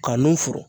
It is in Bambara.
Ka nun furu